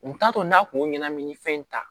U t'a to n'a kun ɲɛnamini fɛn in ta